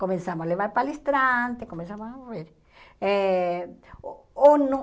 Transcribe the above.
Começamos a levar palestrante, começamos a ouvir. Eh ou no